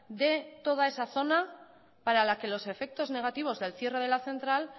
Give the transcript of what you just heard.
de toda esa zona para la que los efectos negativos del cierre de la central